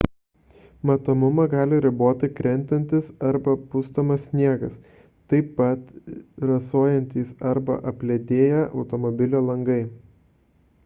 matomumą gali riboti krentantis arba pustomas sniegas taip pat rasojantys arba apledėję automobilio langai